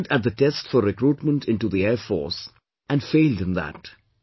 He appeared at the test for recruitment into the Air Force, and failed in that